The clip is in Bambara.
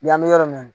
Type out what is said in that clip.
Yan an bɛ yɔrɔ min na